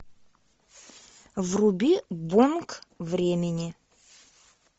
вруби бонг времени